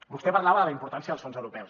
vostè parlava de la importància dels fons europeus